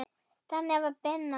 Þannig var Binna.